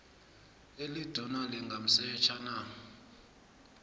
eliduna lingamsetjha na